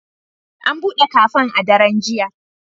An buɗe kafen a daren jiya.